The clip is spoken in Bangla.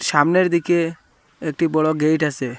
সামনের দিকে একটি বড় গেট আসে।